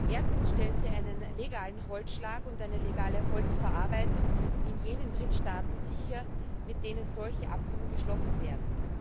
Erstens stellen sie einen legalen Holzschlag und eine legale Holzverarbeitung in jenen Drittstaaten sicher, mit denen solche Abkommen geschlossen werden.